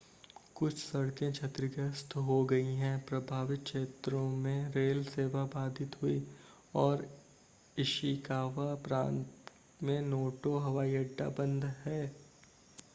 कुछ सड़कें क्षतिग्रस्त हो गई हैं प्रभावित क्षेत्रों में रेल सेवा बाधित हुई और इशिकावा प्रांत में नोटो हवाई अड्डा बंद है